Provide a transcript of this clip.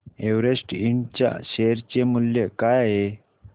Everest Ind च्या share चे मूल्य काय आहे